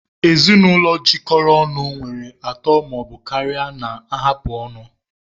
Ezinụlọ jikọrọ ọnụ nwere atọ ma ọ bụ karịa na-ahapụ ọnụ